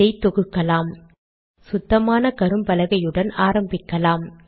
இதை தொகுக்கலாம் சுத்தமான கரும்பலகையுடன் ஆரம்பிக்கலாம்